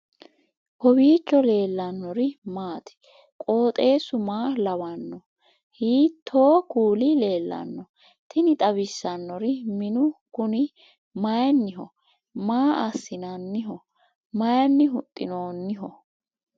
kowiicho leellannori maati ? qooxeessu maa lawaanno ? hiitoo kuuli leellanno ? tini xawissannori minu kuni mayinniho maa assinanniho mayinni huxxinoonniho